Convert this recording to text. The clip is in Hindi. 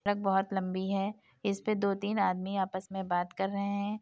सड़क बहुत लम्बी है इसपे दो तीन आदमी आपस में बात कर रहे हैं।